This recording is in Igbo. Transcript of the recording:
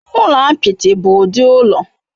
Ụlọ apịtị bụ ụdị ụlọ.